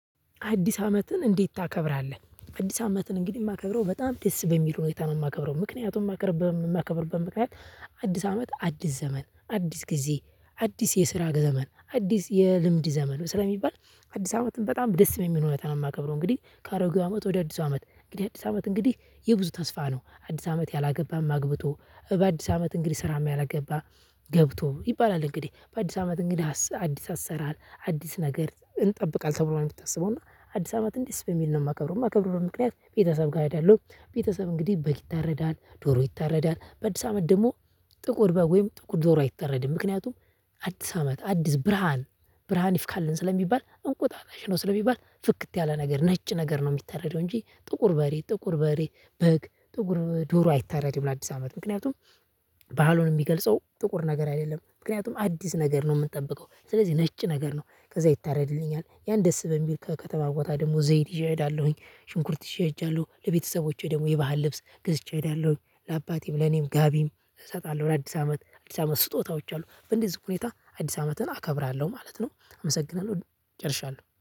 አዲስ አመትን እንዴት ታከብራለህ? አዲስ አመትን እንግዲህ የማከብረው በጣም ደስ በሚል ሁኔታ ነው የማከብረው ምክንያቱም ማከርብ በየማከብርበት ምክንያት አዲስ አመት አዲስ ዘመን አዲስ ጊዜ አዲስ የስራ ዘመን አዲስ የልምድ ዘመን ነው ስለሚባል አዲስ አመትን በጣም ደስ በሚል ሁኔታ ነው የማከብረው። እንግዲህ ከአሮጌ ወደ አዲሱ አመት እንግዲህ አዲስ አመት እንግዲህ የብዙ ተስፋ ነው አዲስ አመት ያላገባም አግብቶ በአዲስ አመት እንግዲህ ስራም ያልገባ ገብቶ ይባላል እንግዲህ በአዲስ አመት እንግዲህ አዲስ አሰራር አዲስ ነገር እንጠብቃለን ተብሎ ነው የምታሰበው። እና አዲስ አመትን ደስ በሚል ነው የማከብረው የማከብርበት ምክንያት ቤተሰብ ጋር እሄዳለው ቤተሰብ እንግዲህ በግ ይታረዳል ዶሮ ይታረዳል በአዲስ አመት ደግሞ ጥቁር በግ ወይም ጥቁር ዶሮ አይታረድም። ምክንያቱም አዲስ አመት አዲስ ብርሃን ብርሃን ይፍካልን ስለሚባል እንቁጣጣሽ ነው ስለሚባል ፍክት ያለ ነገር ነጭ ነገር ነው የሚተረደው። እንጂ ጥቁር በሬ ጥቁር በሬ በግ ጥቁር ዶሮ አይታረድም። ለአዲስ አመት ምክንያቱም ባህሉን የሚገልጸው ጥቁር ነገር አይደለም ምክንያቱም አዲስ ነገር ነው የምንጠብቀው። ስለዚህ ነጭ ነገር ነው ከዛ ይታረድልኛል ያን ደስ በሚል ከከተማ ቦታ ደግሞ ዘይት ይዤ እሄዳለሁኝ። ሽንኩርት ይዤ እሄዳለሁ ለቤተሰቦቼ ደግሞ የባህል ልብስ ገዝቼ እሄዳለሁኝ ለአባቴም ለእኔም ጋቢም እሰጣለሁ ለአዲስ አመት አዲስ አመት ስጦታዎች አሉ። በእንደዚህ ሁኔታ አዲስ አመትን አከብራለሁ ማለት ነው። አመሰግናለሁ ጨርሻለሁ